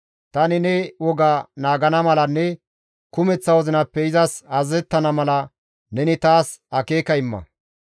Tani ne woga naagana malanne kumeththa wozinappe izas azazettana mala neni taas akeeka imma.